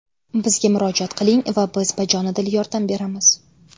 Bizga murojaat qiling va biz bajonidil yordam beramiz.